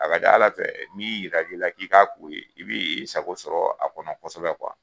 A ka ca Ala fɛ min yirala i la k'i ka ko ye, i bi sago sɔrɔ a kɔnɔ kosɛbɛ